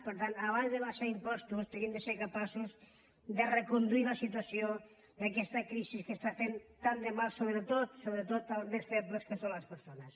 per tant abans d’abaixar impostos tenim de ser capaços de reconduir la situació d’aquesta crisi que està fent tant de mal so·bretot sobretot als més febles que són les persones